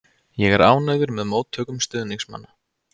Ég er ánægður með móttökum stuðningsmanna.